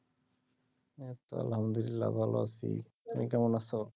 এইতো আলহামদুলিল্লাহ ভালো আছি, তুমি কেমন আছো